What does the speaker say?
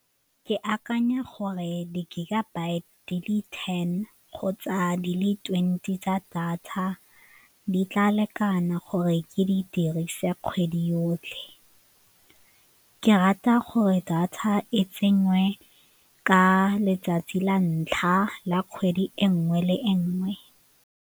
Ke akanya gore di-gigabyte di le ten kgotsa di le twenty tsa data di tla lekana gore ke di dirise kgwedi yotlhe. Ke rata gore data e tsenywe ka letsatsi la ntlha la kgwedi e nngwe le e nngwe.